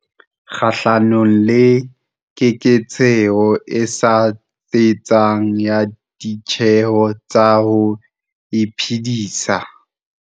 kgahlano le keketseho e sa tsitsang ya ditjeho tsa ho iphedisa.